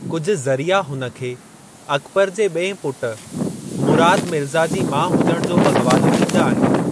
कुझि ज़रिआ हुन खे अकबर जे ॿिएं पुट, मुराद मिर्ज़ा जी माउ हुजण जो बि हवालो ॾींदा आहिनि।